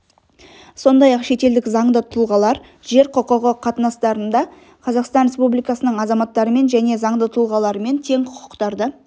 сондай-ақ шетелдік заңды тұлғалар жер құқығы қатынастарында қазақстан республикасының азаматтарымен және заңды тұлғаларымен тең құқықтарды